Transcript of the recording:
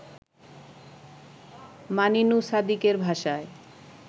মানিনু সাদিকের ভাষায়